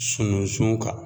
Sununsun kan.